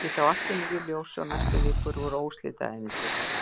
Ég sá allt í nýju ljósi og næstu vikur voru óslitið ævintýri.